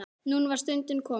Núna var stundin komin.